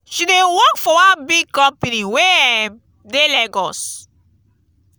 she dey work for one big company wey um dey lagos.